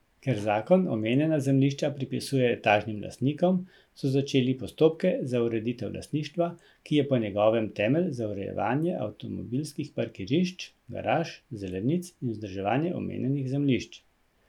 Ker zakon omenjena zemljišča pripisuje etažnim lastnikom, so začeli postopke za ureditev lastništva, ki je po njegovem temelj za urejevanje avtomobilskih parkirišč, garaž, zelenic in vzdrževanje omenjenih zemljišč.